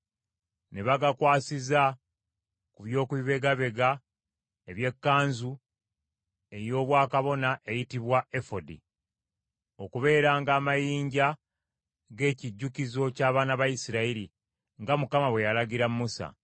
Ne bagakwasiza ku byokubibegabega eby’ekkanzu ey’obwakabona eyitibwa efodi, okubeeranga amayinja g’ekijjukizo ky’abaana ba Isirayiri; nga Mukama bwe yalagira Musa.